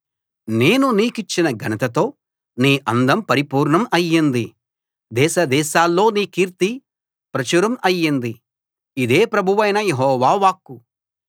నేను నీకిచ్చిన ఘనతతో నీ అందం పరిపూర్ణం అయింది దేశదేశాల్లో నీ కీర్తి ప్రచురం అయ్యింది ఇదే ప్రభువైన యెహోవా వాక్కు